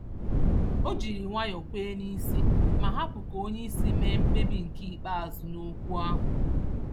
Ọ jírí nwayọọ kwee n'isi ma hapụ ka onyeisi mee mkpebi nke ikpeazụ n'okwu ahụ